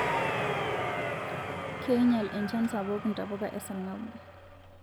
Keinyal enchan sapuk ntapuka esarngab